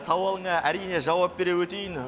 сауалына әрине жауап бере өтейін